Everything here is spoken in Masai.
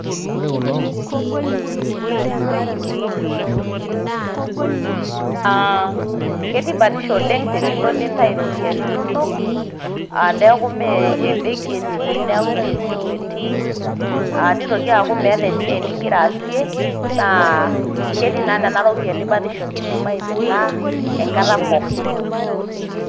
Aa ketii batisho oleng tenilo nintau iropiyiani inonok a neku mmee embenki etii neku mmee simu etii ,nitoki aku meeta esiai ningira aasie naa ketii naa nena ropiyiani batisho kidim aimina enkata pookin.